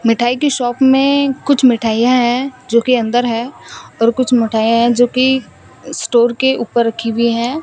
मिठाई की शॉप में कुछ मिठाइयां हैं जो कि अंदर है और कुछ मिठाइयां है जो कि स्टोर के ऊपर रखी हुई हैं।